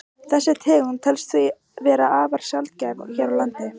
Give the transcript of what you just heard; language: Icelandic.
Þessi tegund telst því vera afar sjaldgæf hér á landi.